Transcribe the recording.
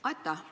Aitäh!